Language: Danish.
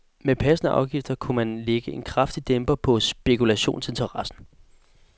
Med passende afgifter kunne man lægge en kraftig dæmper på spekulationsinteressen.